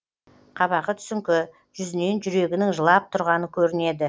қабағы түсіңкі жүзінен жүрегінің жылап тұрғаны көрінеді